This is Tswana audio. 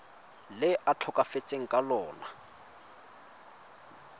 le a tlhokafetseng ka lona